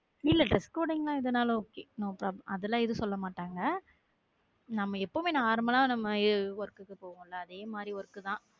இல்ல dress coding எதுனாலும் okay no problem அதெல்லாம் எதும் சொல்ல மாட்டாங்க நம்ம எப்போதுமே normal லா work க்கு போவோம்ல அதே மாதிரி work தான்